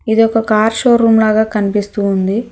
ఇది ఒక car showroom లాగా కనిపిస్తుంది.